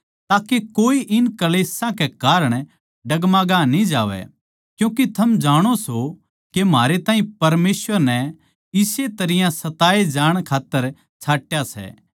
ताके कोए इन क्ळेशां कै कारण डगमगा न्ही जावै क्यूँके थम जाणो सो के म्हारे ताहीं परमेसवर नै इसे तरियां सताये जाण खात्तर छाट्या सै